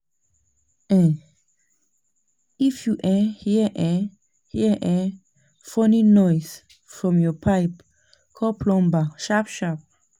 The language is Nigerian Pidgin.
um If you um hear um hear um funny noise from your pipe, call plumber sharp-sharp.